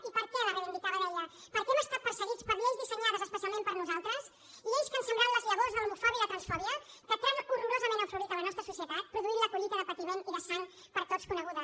i per què la reivindicava deia perquè hem estat perseguits per lleis dissenyades especialment per a nosaltres lleis que han sembrat les llavors de l’homofòbia i la transfòbia que tan horrorosament han florit a la nostra societat produint la collita de patiment i de sang per tots coneguda